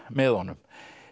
með honum